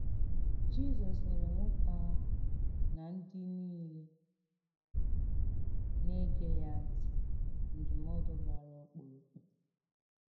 Jizọs nyere nwókè àhụ̀ — nà ǹdí nìlè nà-ègé ya ntì — ndụ́mòdù gbàrà ọkpụrụkpụ.